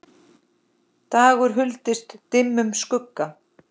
dagur huldist dimmum skugga